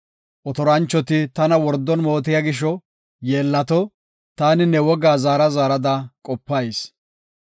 Otoranchoti tana wordon mootiya gisho yeellato; taani ne wogaa zaara zaarada qopayis.